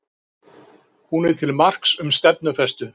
Hún er til marks um stefnufestu